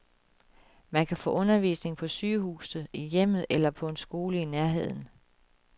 Man kan få undervisning på sygehuset, i hjemmet eller på en skole i nærheden.